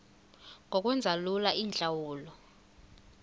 ngokwenza lula iintlawulo